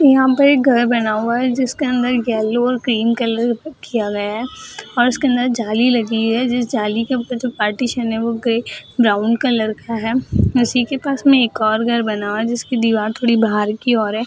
यहाँ पे एक घर बना हुआ है जिसके अंदर येलो और ग्रीन कलर किया गया है और उसके अंदर जाली लगी है जिस जाली के ऊपर जो पार्टिशियन हो वो ब्राउन कलर का है उसी के पास में एक और घर बना है जिसकी दिवार थोड़ी बाहर की ओर है।